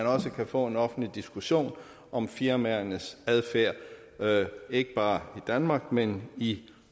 også kan få en offentlig diskussion om firmaernes adfærd ikke bare i danmark men i